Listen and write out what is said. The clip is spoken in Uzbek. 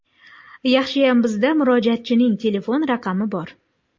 Yaxshiyam bizda murojaatchining telefon raqami bor.